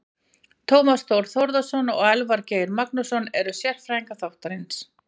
Tómas Þór Þórðarson og Elvar Geir Magnússon eru sérfræðingar þáttarins.